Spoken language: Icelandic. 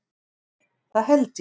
Það held ég.